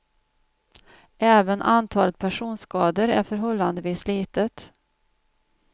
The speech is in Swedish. Även antalet personskador är förhållandevis litet.